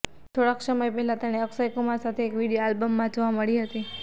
થોડા સમય પહેલા તેણે અક્ષય કુમાર સાથે એક વિડીયો આલ્બમમાં જોવા મળી હતી